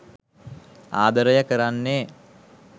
ආදරය කරන්නේ